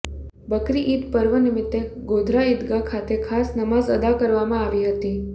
બકરી ઉદ પર્વ નિમિત્તે ગોધરા ઇદગાહ ખાતે ખાસ નમાઝ અદા કરવામાં આવી હતી